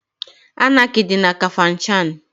Anaki dị na Kafanchan.